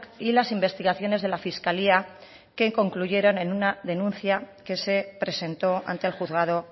y las investigaciones de la fiscalía que concluyeron en una denuncia que se presentó ante el juzgado